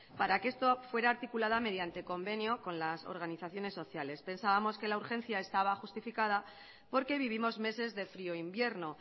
para que esto fuera articulado mediante convenio con las organizaciones sociales pensábamos que la urgencia estaba justificada porque vivimos meses de frió invierno